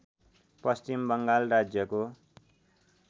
पश्चिम बङ्गाल राज्यको